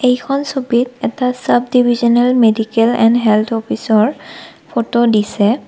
এইখন ছবিত এটা sub divisional medical and health office ৰ ফটো দিছে।